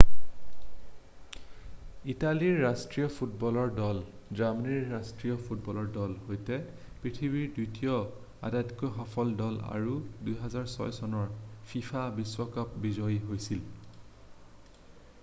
ইটালীৰ ৰাষ্ট্ৰীয় ফুটবলৰ দল জাৰ্মানীৰ ৰাষ্ট্ৰীয় ফুটবলৰ দলৰ সৈতে পৃথিৱীৰ দ্বিতীয় আটাইতকৈ সফল দল আৰু 2006 চনৰ ফিফা বিশ্বকাপৰ বিজয়ী হৈছিল